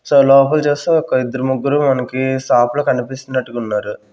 So లోపల చూస్తే ఒక ఇద్దరు ముగ్గురు మనకి సాప్ లో కనిపిస్తున్నట్టుగున్నరు.